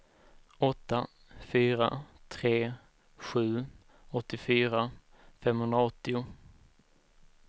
åtta fyra tre sju åttiofyra femhundraåttio